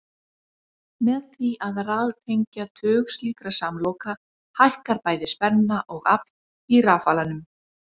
Með því að raðtengja tug slíkra samloka hækkar bæði spenna og afl í rafalanum.